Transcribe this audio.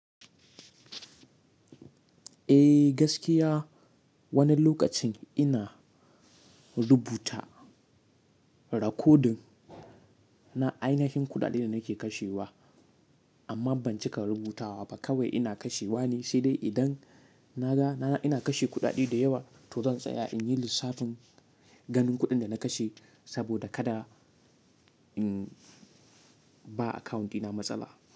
Ehh gaskiya wani lokacin ina rubuta rekodin na ainahin kudaden da nake kashewa amma ban cika rubutawa ba kawai ina kashewa ne sai dai idan na ga na ina kashi kuɗaɗe da yawa to zan tsaya in yi lissafin ganin kuɗin da na kashe saboda kada in ba akawun ɗina matsala.